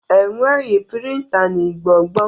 Enweghi prịnta n'Igbo gboo.